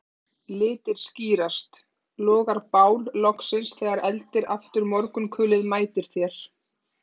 Litir skýrast, logar bál loksins þegar eldir aftur morgunkulið mætir þér